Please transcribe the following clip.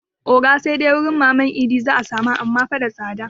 Oga sai dai wajan maman idi a nan za 'a samu amma fa da tsada